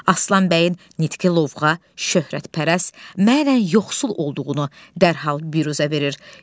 Aslan bəyin nitqi lovğa, şöhrətpərəst, mənən yoxsul olduğunu dərhal biruzə verir.